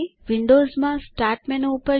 વિન્ડોવ્સમાં start menu પર જાઓ